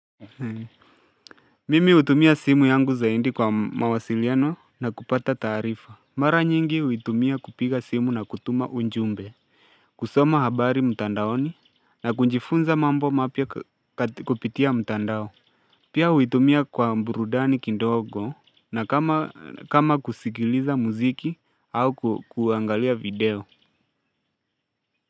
Mimi hutumia simu yangu zaidi kwa mawasiliano na kupata taraifa Mara nyingi huitumia kupiga simu na kutuma unumbe kusoma habari mtandaoni na kunjifunza mambo mapya kupitia mtandao Pia huitumia kwa burudani kidogo na kama kama kusikiliza muziki au kuangalia video.